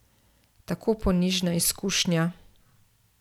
Tako ponižna izkušnja.